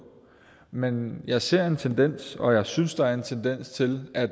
men jeg ser en tendens og jeg synes der er en tendens til at